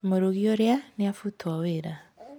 Mũrugi ũrĩa nĩ abutwo wĩra.